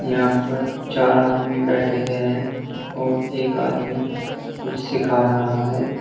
यहां पर चार आदमी बैठे हुए है और एक आदमी कुछ सिखा रहा है।